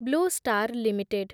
blue star limited